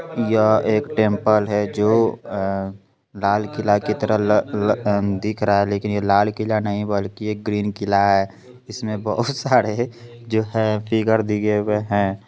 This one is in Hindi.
यहां एक टेंपल है । जो लाल किला की तरह ल- लग दिख रहा है ।लेकिन ये लाल किला नहीं बल्कि एक ग्रीन किला है। जिसमें बहुत सारे जो है फिर दिए हुए हैं।